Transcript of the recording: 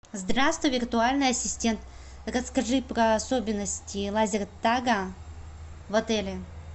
здравствуй виртуальный ассистент расскажи про особенности лазертага в отеле